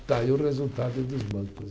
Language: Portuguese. Está aí o resultado dos bancos.